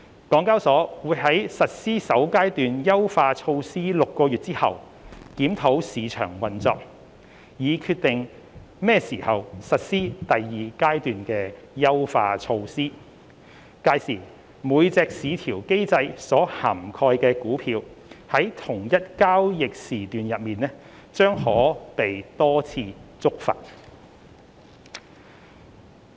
港交所會在實施首階段優化措施6個月後檢討市場運作，以決定何時實施第二階段優化措施，屆時每隻市調機制所涵蓋的股票在同一交易時段內將可被多次觸發。